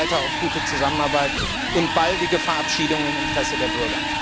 Ich hoffe weiter auf gute Zusammenarbeit und baldige Verabschiedung im Interesse der Bürger.